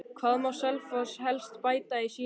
Hvað má Selfoss helst bæta í sinni þjálfun?